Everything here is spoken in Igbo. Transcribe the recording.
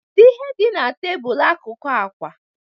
Kedu ihe dị na tebụl akụkụ àkwà?